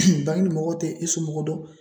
bangini mɔgɔw te e somɔgɔ dɔn